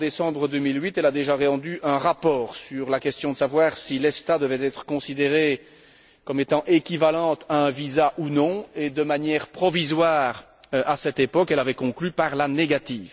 En décembre 2008 déjà, elle a rendu un rapport sur la question de savoir si l'ESTA devait être considérée comme étant équivalente à un visa ou non et, de manière provisoire à cette époque, elle avait conclu par la négative.